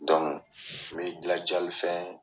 NDon n bɛ da jali fɛ